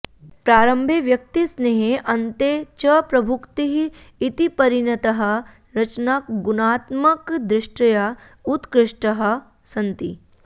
प्रारम्भे व्यक्तिस्नेहः अन्ते च प्रभुक्तिः इति परिणताः रचना गुणात्मकदृष्ट्या उत्कृष्टाः सन्ति